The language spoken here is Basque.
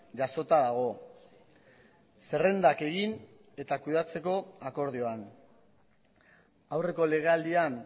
jasota dago zerrendak egin eta kudeatzeko akordioan aurreko legealdian